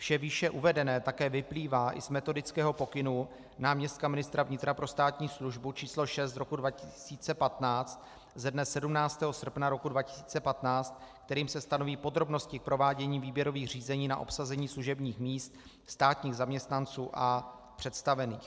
Vše výše uvedené také vyplývá i z Metodického pokynu náměstka ministra vnitra pro státní službu číslo 6 z roku 2015 ze dne 17. srpna roku 2015, kterým se stanoví podrobnosti k provádění výběrových řízení na obsazení služebních míst státních zaměstnanců a představených.